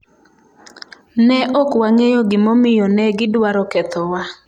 Ne ok wang’eyo gimomiyo ne gidwaro kethowa.